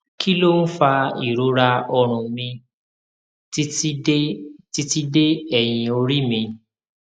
kí ló ń fa ìrora ọrùn mi titi de titi de eyin ori mi